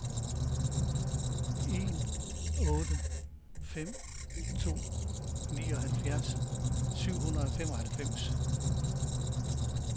en otte fem to nioghalvfjerds syv hundrede og femoghalvfems